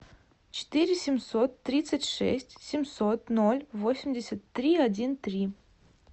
четыре семьсот тридцать шесть семьсот ноль восемьдесят три один три